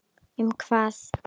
Um hvað?